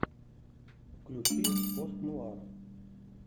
включи пост нуар